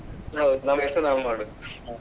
ಹೌದು ನಮ್ ಕೆಲಸ ನಾವ್ ಮಾಡುದು.